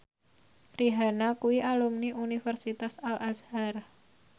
Rihanna kuwi alumni Universitas Al Azhar